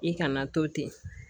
I kana to ten